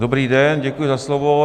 Dobrý den, děkuji za slovo.